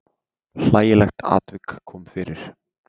Hlægilegt atvik kom fyrir.